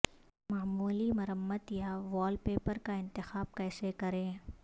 معمولی مرمت یا وال پیپر کا انتخاب کیسے کریں